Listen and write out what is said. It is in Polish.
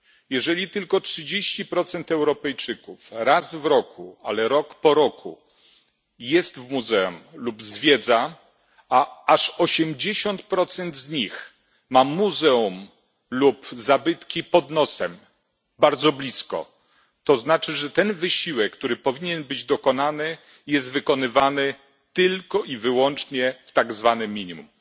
Jeżeli tylko 30 Europejczyków raz w roku, ale rok po roku jest w muzeum lub zwiedza, a aż 80 z nich ma muzeum lub zabytki pod nosem, bardzo blisko, to znaczy, że ten wysiłek, który powinien być dokonany, jest wykonywany tylko i wyłącznie w tak zwanym minimum.